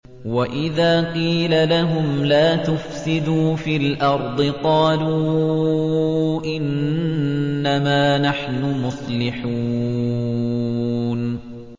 وَإِذَا قِيلَ لَهُمْ لَا تُفْسِدُوا فِي الْأَرْضِ قَالُوا إِنَّمَا نَحْنُ مُصْلِحُونَ